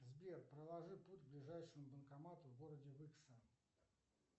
сбер проложи путь к ближайшему банкомату в городе выкса